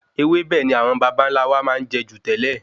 Ewébẹ̀ ni awon babanla wà máa n je ju tẹ́lẹ̀